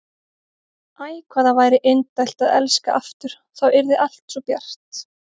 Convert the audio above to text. Æ, hvað það væri indælt að elska aftur, þá yrði allt svo bjart.